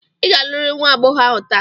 Ị ga-alụrịrị nwa agbọghọ ahụ taa!